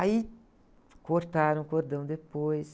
Aí, cortaram o cordão depois.